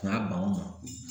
U y'a ban